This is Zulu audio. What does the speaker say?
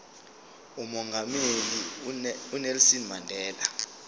umongameli unelson mandela